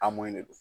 A mun de don